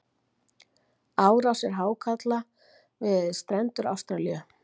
Árásir hákarla við strendur Ástralíu.